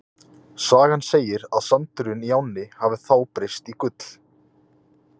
Sagan segir að sandurinn í ánni hafi þá breyst í gull.